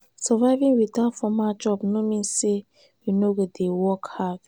surviving without formal job no mean sey we no no dey work hard.